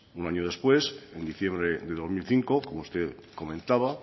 un año después en diciembre de dos mil cinco como usted comentaba